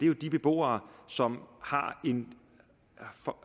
jo de beboere som